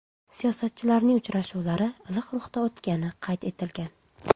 Siyosatchilarning uchrashuvi iliq ruhda o‘tgani qayd etilgan.